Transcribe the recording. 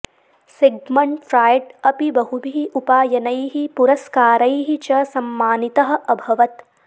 Sigmund Freud अपि बहुभिः उपायनैः पुरस्कारैः च सम्मानितः अभवत्